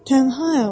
Tənhayam.